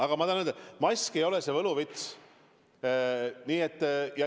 Aga ma tahan öelda, et mask ei ole võluvits.